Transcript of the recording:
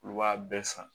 Olu b'a bɛɛ san